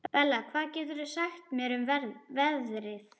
Bella, hvað geturðu sagt mér um veðrið?